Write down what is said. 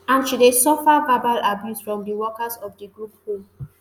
and she dey suffer verbal abuse from di workers of di group home